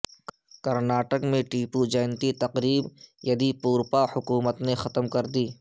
کرناٹک میں ٹیپو جینتی تقریب یدی یورپا حکومت نے ختم کردی